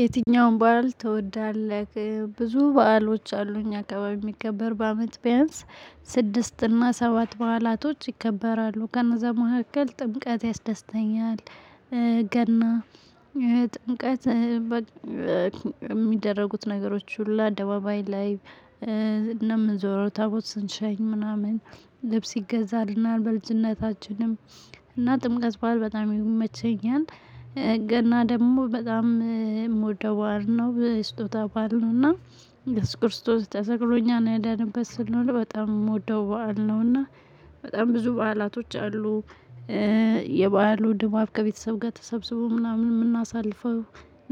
የትኛውም በዓል ትወዳለህ ብዙ በዓሎች አሉኝ አካባቢ የሚከበር በአመት ቢያንስ ስድስት እና ሰባት በዓላቶች ይከበራሉ ገና ዘመካከል ጥምቀት ያስደስተኛል። ገና ጥምቀት። የሚደረጉት ነገሮች ሁሉ አደባባይ ላይ ነው ምንዞረው ታቦት ስንሸኝ ምናምን ልብስ ይገዛልናል በልጅነታችንም እና ጥምቀት በዓል በጣም ይመቸኛል። ገና ደግሞ በጣም የምወደው በዓል ነው በስጦታ በዓል ነው። እና እየሱስ ክርስቶስ ተሰቅል እኛን ያዳነበት ስለሆነ በጣም የምወደው በዓል ነውና። በጣም ብዙ በዓላቶች አሉ። የበአሉ ድባብ ከቤተሰብ ጋር ተሰብስቦ ምናምን የምናሳልፈው